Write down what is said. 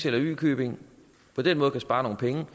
eller y købing på den måde kan spare nogle penge